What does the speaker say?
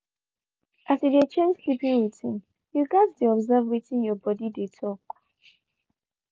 as you dey change sleeping routine you gats dey observe wetin you body dey talk